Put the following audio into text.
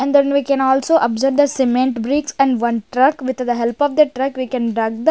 and then we can also observe the cement bricks and one truck with the help of the truck we can rug the.